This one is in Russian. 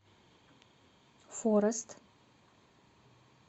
форест